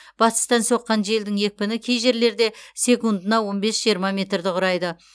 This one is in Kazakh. батыстан соққан желдің екпіні кей жерлерде секундына он бес жиырма метрді құрайды